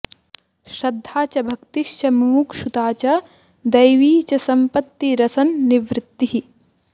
श्रद्धा च भक्तिश्च मुमुक्षुता च दैवी च सम्पत्तिरसन्निवृत्तिः